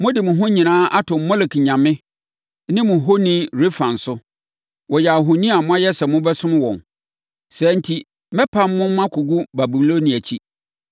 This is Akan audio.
Mode mo ho nyinaa ato Molek nyame ne mo honi Rɛfan so; wɔyɛ ahoni a moayɛ sɛ mobɛsom wɔn. Saa enti, mɛpam mo makɔgu Babilonia akyi.’